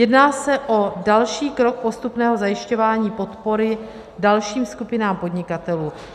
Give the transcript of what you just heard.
Jedná se o další krok postupného zajišťování podpory dalším skupinám podnikatelů.